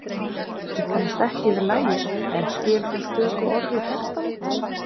Ég kannast ekki við lagið en skil þó stöku orð í textanum.